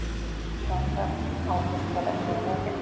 Sjónræn áhrif þeirra séu mikil.